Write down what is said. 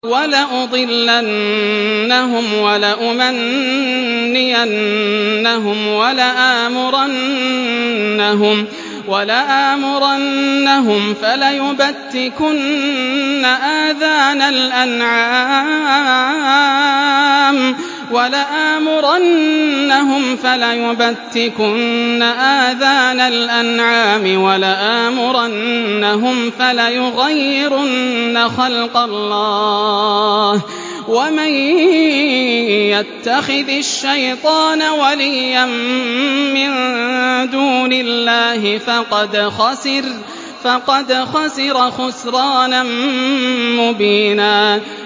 وَلَأُضِلَّنَّهُمْ وَلَأُمَنِّيَنَّهُمْ وَلَآمُرَنَّهُمْ فَلَيُبَتِّكُنَّ آذَانَ الْأَنْعَامِ وَلَآمُرَنَّهُمْ فَلَيُغَيِّرُنَّ خَلْقَ اللَّهِ ۚ وَمَن يَتَّخِذِ الشَّيْطَانَ وَلِيًّا مِّن دُونِ اللَّهِ فَقَدْ خَسِرَ خُسْرَانًا مُّبِينًا